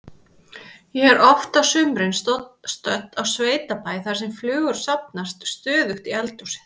Ég er oft á sumrin stödd á sveitabæ þar sem flugur safnast stöðugt í eldhúsið.